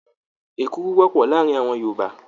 Èkuru wọ́pọ̀ láàárin àwọn Yorùbá.